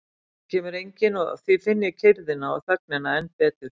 Það kemur enginn og því finn ég kyrrðina og þögnina enn betur.